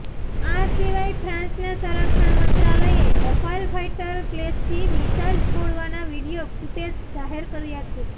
આ સિવાય ફ્રાંસના સંરક્ષણ મંત્રાલયે રફાલ ફાઈટર પ્લેન્સથી મિસાઈલ છોડવાના વીડિયો ફૂટેજ જાહેર કર્યા છે